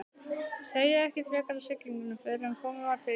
Segir ekki frekar af siglingunni fyrren komið var til Íslands.